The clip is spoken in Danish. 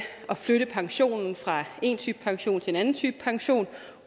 at flytte pensionen fra en type pension til en anden type pension